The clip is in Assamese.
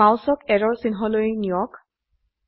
মাউসক এৰৰ চিহ্নলৈ নিয়ক